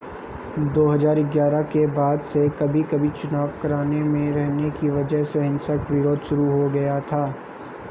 2011 के बाद से कभी-कभी चुनाव कराने में रहने की वजह से हिंसक विरोध शुरू हो गया था